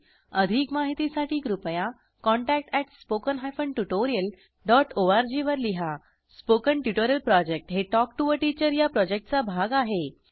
अधिक माहितीसाठी कृपया contact spoken hyphen tutorial dot org वर लिहा स्पोकन ट्युटोरियल प्रॉजेक्ट हे टॉक टू टीचर या प्रॉजेक्टचा भाग आहे